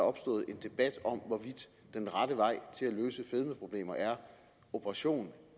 opstået en debat om hvorvidt den rette vej til at løse fedmeproblemer er operation